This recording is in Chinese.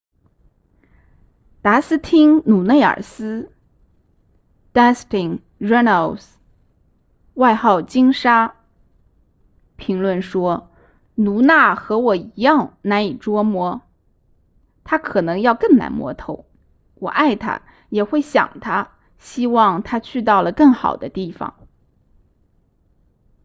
达斯汀鲁内尔斯 dustin runnels 外号金沙评论说卢娜和我一样难以捉摸她可能要更难摸透我爱她也会想她希望她去到了更好的地方